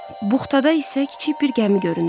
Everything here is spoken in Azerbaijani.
Buxtada isə kiçik bir gəmi görünürdü.